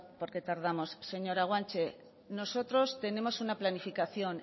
porque tardamos señora guanche nosotros tenemos una planificación